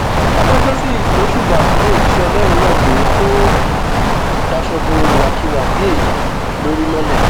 adájọ sì gbóṣùbà fún òjíṣẹ ọlọrun náà pé kó daṣọ bo ìwàkiwà bíi èyí lórí mọlẹ